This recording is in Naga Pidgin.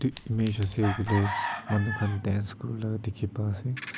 eef image ase hoile manu khan dance kori laga dekhi pai ase